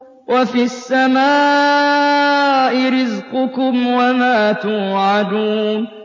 وَفِي السَّمَاءِ رِزْقُكُمْ وَمَا تُوعَدُونَ